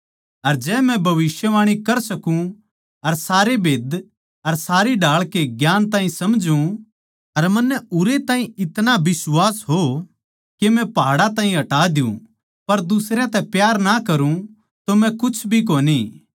अर जै मै भविष्यवाणी कर सकूँ अर सारे भेद्दां अर सारी ढाळ के ज्ञान ताहीं समझूँ अर मन्नै उरै ताहीं इतणा बिश्वास हो के मै पहाड़ां ताहीं हटा दियुँ पर दुसरयां तै प्यार ना करुँ तो मै कुछ भी कोनी